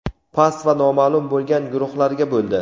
past va noma’lum bo‘lgan guruhlarga bo‘ldi.